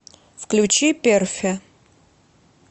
включи перфе